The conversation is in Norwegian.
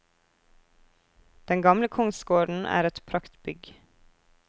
Den gamle kongsgården er et praktbygg.